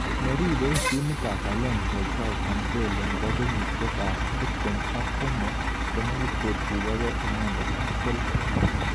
Neribei timit ab Valencia Joao Cncelo nebo kenyishek ab tip tem ak somok konekit kotuyokei inendet ak Chelsea.